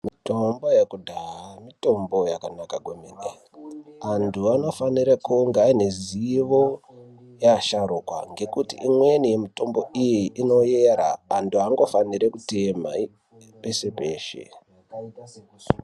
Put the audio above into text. Mitombo yekudhaya mitombo yakanaka kwemene. Antu anofanire kunge aine zivo yeasharukwa ngekuti imweni yemutombo iyi inoera, antu aangofaniri kutema peshe -peshe.